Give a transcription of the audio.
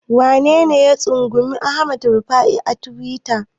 Wanene ya tsangwami Hamad Rabi'u a tiwita?